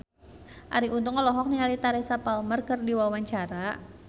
Arie Untung olohok ningali Teresa Palmer keur diwawancara